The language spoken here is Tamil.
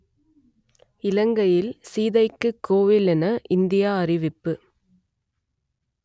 இலங்கையில் சீதைக்குக் கோவில் என இந்தியா அறிவிப்பு